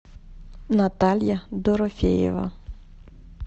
наталья дорофеева